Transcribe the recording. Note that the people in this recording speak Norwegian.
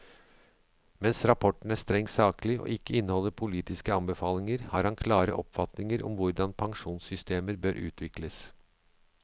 Mens rapporten er strengt saklig og ikke inneholder politiske anbefalinger, har han klare oppfatninger om hvordan pensjonssystemer bør utvikles.